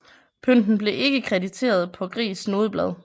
Pynten blev ikke krediteret på Gries nodeblad